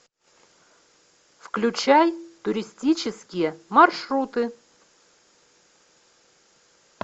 включай туристические маршруты